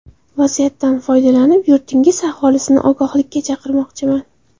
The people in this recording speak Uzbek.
Vaziyatdan foydalanib, yurtingiz aholisini ogohlikka chaqirmoqchiman.